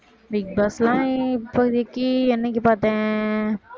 big பாஸ்லாம் இப்போதைக்கு என்னைக்கு பார்த்தேன்